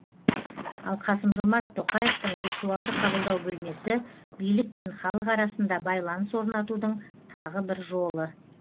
ал қасым жомарт тоқаевтың виртуалды қабылдау бөлмесі билік пен халық арасында байланыс орнатудың тағы бір жолы